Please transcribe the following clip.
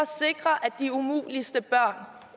de umuligste børn